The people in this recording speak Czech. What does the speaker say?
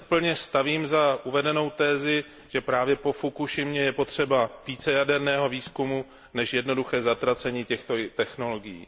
Proto se plně stavím za uvedenou tezi, že právě po Fukušimě je potřeba více jaderného výzkumu než jednoduché zatracení těchto technologií.